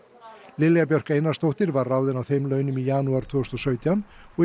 Lilja Björk Einarsdóttir var ráðin á þeim launum í janúar tvö þúsund og sautján og í